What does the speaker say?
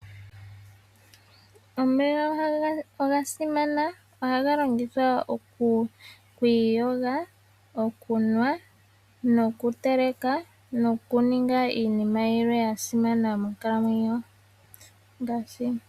Omeya ogasimana ohaga longithwa okwiiyoga, okunwa nokutela nokuninga iinima yilwe yasimana monkalamwenyo.